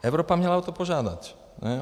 Evropa měla o to požádat.